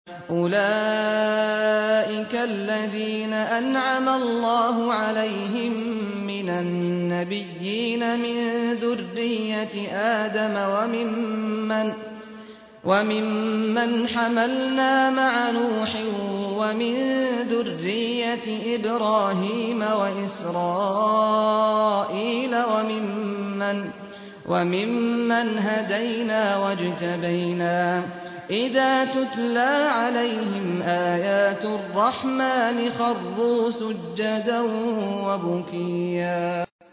أُولَٰئِكَ الَّذِينَ أَنْعَمَ اللَّهُ عَلَيْهِم مِّنَ النَّبِيِّينَ مِن ذُرِّيَّةِ آدَمَ وَمِمَّنْ حَمَلْنَا مَعَ نُوحٍ وَمِن ذُرِّيَّةِ إِبْرَاهِيمَ وَإِسْرَائِيلَ وَمِمَّنْ هَدَيْنَا وَاجْتَبَيْنَا ۚ إِذَا تُتْلَىٰ عَلَيْهِمْ آيَاتُ الرَّحْمَٰنِ خَرُّوا سُجَّدًا وَبُكِيًّا ۩